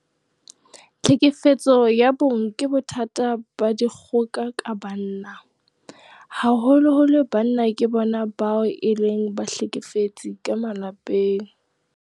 Tlhekefetso ya bong ke bothata ba dikgoka ka banna. Haholoholo banna ke bona bao e leng bahlekefetsi ka malapeng.